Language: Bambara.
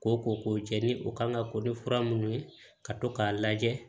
Ko ko jɛ ni o kan ka ko ni fura minnu ye ka to k'a lajɛ